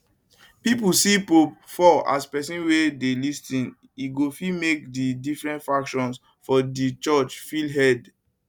pipo see pope leo xiv as pesin wey dey lis ten e go fit make di different factions of di church feel heard